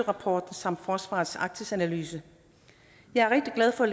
rapporten samt forsvarets arktisanalyse jeg er rigtig glad for at